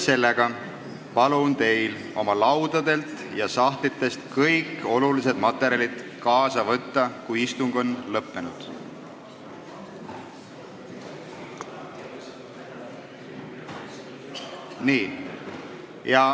Seega palun teil oma laudadelt ja sahtlitest kõik olulised materjalid kaasa võtta, kui istung on lõppenud.